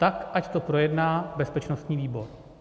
Tak ať to projedná bezpečnostní výbor.